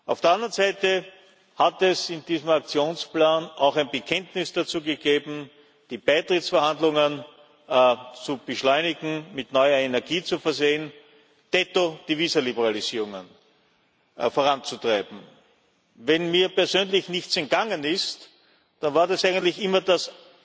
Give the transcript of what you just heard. Auf der anderen Seite hat es in diesem Aktionsplan auch ein Bekenntnis dazu gegeben, die Beitrittsverhandlungen zu beschleunigen, mit neuer Energie zu versehen, detto die Visaliberalisierungen voranzutreiben. Wenn mir persönlich nichts entgangen ist, dann war das eigentlich immer